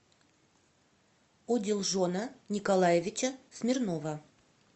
одилжона николаевича смирнова